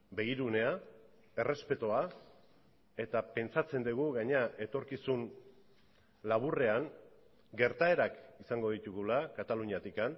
begirunea errespetua eta pentsatzen dugu gainera etorkizun laburrean gertaerak izango ditugula kataluniatik